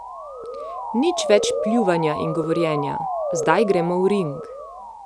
Nič več pljuvanja in govorjenja, zdaj gremo v ring.